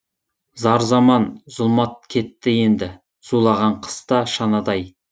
зар заман зұлмат кетті енді зулаған қыста шанадай